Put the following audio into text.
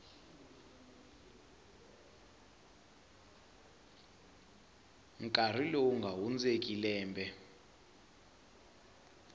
nkarhi lowu nga hundzeki lembe